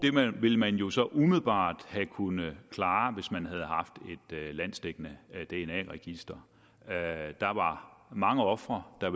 ville man jo så umiddelbart have kunnet klare hvis man havde haft et landsdækkende dna register der ville mange ofre der